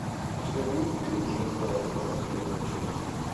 у тебя будет фильм джек райан двадцать первая часть